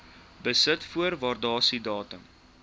besit voor waardasiedatum